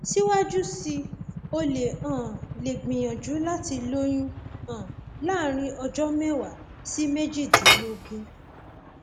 síwájú sí i o um lè gbìyànjú láti lóyún um láàárín ọjọ mẹwàá sí méjìdínlógún